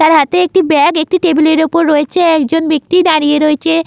তার হাতে একটি বাগ টেবিলের ওপর রয়েছে একজন বাক্তি দাড়িয়ে রয়েছে--